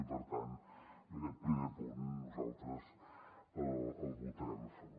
i per tant aquest primer punt nosaltres el votarem a favor